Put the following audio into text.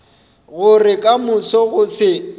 gore ka moso go se